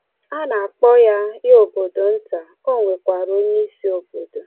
A na-akpọ ya ya obodo nta, o nwekwara onyeisi obodo.